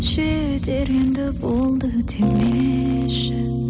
жетер енді болды демеші